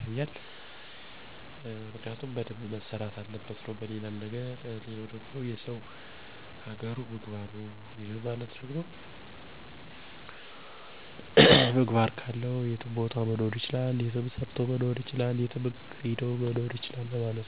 ተመልሶ ዋጋ ያስከፍለናል ማለት ነው። 2. የሰው ሀገሩ ምግባሩ !! ይህ ማለት ሰው ስነ ምግባር ካለው የትም ሀገር መኖር ይችላል